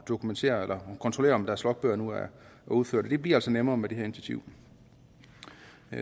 dokumentere eller kontrollere om deres logbøger nu er udfyldt og det bliver altså nemmere med det her initiativ